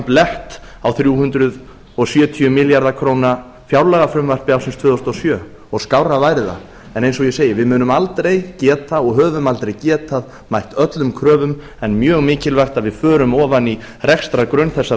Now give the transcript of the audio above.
blett á þrjú hundruð sjötíu milljarða króna fjárlagafrumvarpi ársins tvö þúsund og sjö skárra væri það en eins og ég segi við munum aldrei geta og höfum aldrei getað mætt öllum kröfum en mjög mikilvægt að við förum ofan í rekstrargrunn þessara